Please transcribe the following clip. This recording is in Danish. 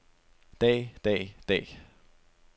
dag dag dag